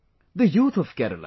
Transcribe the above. the youth of Kerala